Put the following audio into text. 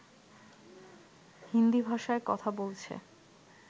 হিন্দী ভাষায় কথা বলছে